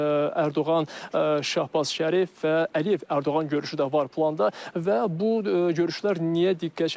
Ərdoğan, Şahbaz Şərif və Əliyev-Ərdoğan görüşü də var planda və bu görüşlər niyə diqqət çəkir?